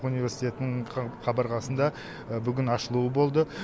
университетінің қабырғасында бүгін ашылуы болды